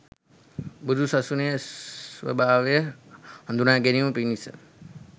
බුදු සසුනේ ස්වභාවය හඳුනාගැනීම පිණිස